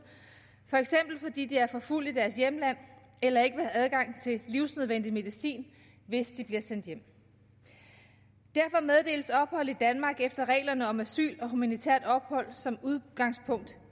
for eksempel fordi de er forfulgt i deres hjemland eller ikke har adgang til livsvigtig medicin hvis de bliver sendt hjem derfor meddeles ophold i danmark efter reglerne om asyl og humanitært ophold som udgangspunkt